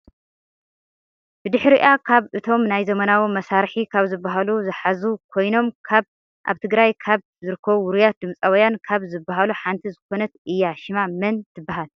ብድሕሪኣ ካብ እቶም ናይ ዘመናዊ መሳርሒ ካብ ዝብሃሉ ዝሓዙ ኮይኖም ካብ ኣብ ትግራይ ካብ ዝርከቡ ውርያትን ድምፃውያን ካብ ዝብሃሉሓንቲ ዝኮነት እያ ሽማ መን ትብሃል?